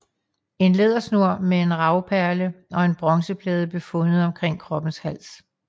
En lædersnor med en ravperle og en bronzeplade blev fundet omkring kroppens hals